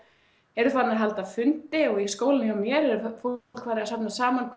eru farnir að halda fundi og í skólanum hjá mér er fólk farið að safnast saman